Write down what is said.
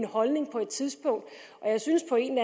holdning på det tidspunkt og jeg synes på en